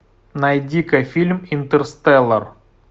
найди ка фильм интерстеллар